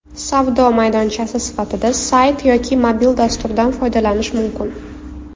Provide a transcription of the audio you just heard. Savdo maydonchasi sifatida sayt yoki mobil dasturdan foydalanish mumkin.